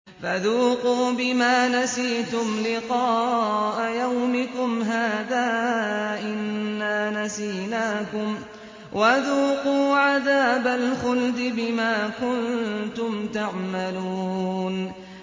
فَذُوقُوا بِمَا نَسِيتُمْ لِقَاءَ يَوْمِكُمْ هَٰذَا إِنَّا نَسِينَاكُمْ ۖ وَذُوقُوا عَذَابَ الْخُلْدِ بِمَا كُنتُمْ تَعْمَلُونَ